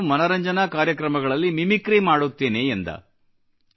ನಾನು ಮನರಂಜನಾ ಕಾರ್ಯಕ್ರಮಗಳಲ್ಲಿ ಮಿಮಿಕ್ರಿ ಮಾಡುತ್ತೇನೆ ಎಂದನು